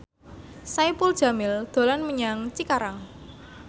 Saipul Jamil dolan menyang Cikarang